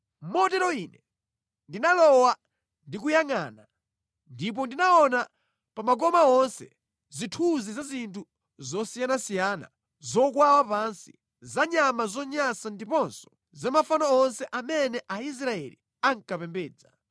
Motero Ine ndinalowa ndi kuyangʼana, ndipo ndinaona pa makoma onse zithunzi za zinthu zosiyanasiyana zokwawa pansi, za nyama zonyansa ndiponso za mafano onse amene Aisraeli ankapembedza.